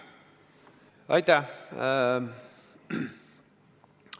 Aitäh!